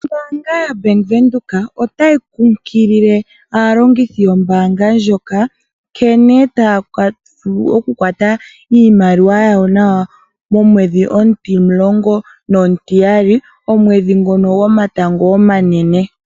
Ombaanga yoBank Windhoek otayi kumagidha aalongithi yombaanga ndjoka nkene taya vulu okukwata iimaliwa yawo nawa, momwedhi omutimulongo nomutiyali, omwedhi ngono gomatango omanene.